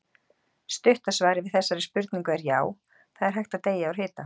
Stutta svarið við þessari spurningu er já, það er hægt að deyja úr hita.